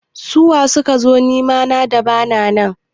Su waye sukazo nema na da bana nan?